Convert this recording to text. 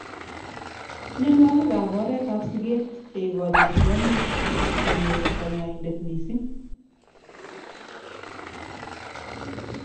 Mnyenwokik ab oret ab siket cheikojin kwonyik kob konyor kanyoindet missing.